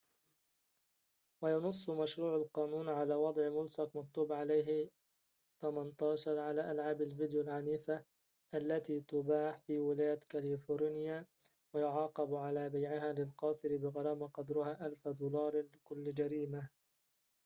وينص مشروع القانون على وضع ملصق مكتوب عليه 18 على ألعاب الفيديو العنيفة التي تباع في ولاية كاليفورنيا ويعاقب على بيعها للقاصر بغرامة قدرها 1000 دولار لكل جريمة